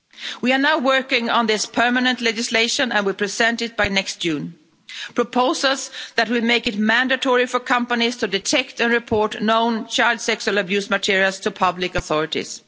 We are now working on this permanent legislation and will present it by next June, proposals that would make it mandatory for companies to detect and report known child sexual abuse materials to public authorities.